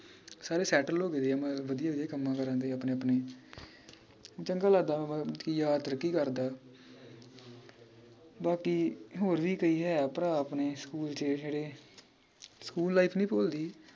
ਸਾਰੇ settle ਹੋਗੇ ਦੇ ਆ ਮਤਲਬ ਵਧੀਆ ਵਧੀਆ ਕੱਮਾਂ ਕਾਰਾਂ ਚ ਆਪਣੇ ਚੰਗਾ ਲੱਗਦਾ ਵਾ ਕਿ ਯਾਰ ਤਰੱਕੀ ਕਰਦਾ ਬਾਕੀ ਹੋਰ ਵੀ ਕਈ ਹੈ ਭਰਾ ਹੈ ਆਪਣੇ ਸਕੂਲ ਚ ਜਿਹੜੇ ਸਕੂਲ life ਨੀ ਭੁੱਲਦੀ